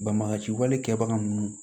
Banbagaciwale kɛbaga ninnu